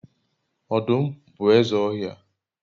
odum bu eze ohia